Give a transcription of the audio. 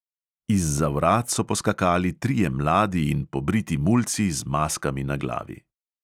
Izza vrat so poskakali trije mladi in pobriti mulci z maskami na glavi.